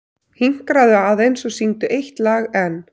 Hinkraðu aðeins og syngdu eitt lag enn.